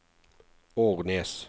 Ornes